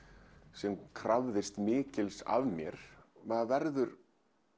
sem krafðist mikils af mér maður verður